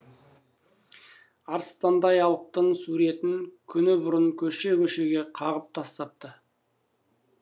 арыстандай алыптың суретін күні бұрын көше көшеге қағып тастапты